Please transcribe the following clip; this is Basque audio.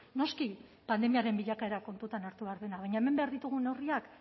noski pandemiaren bilakaera kontutan hartu behar dela baina hemen behar ditugun neurriak